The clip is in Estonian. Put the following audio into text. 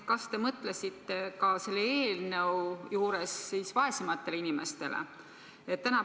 Kas te mõtlesite selle eelnõu juures ka vaesematele inimestele?